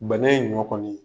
Bana in ɲɔ kɔni